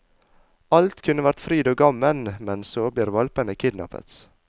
Alt kunne vært fryd og gammen, men så blir hvalpene kidnappet.